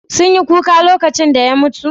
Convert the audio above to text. Sun yi kuka lokacin da ya mutu?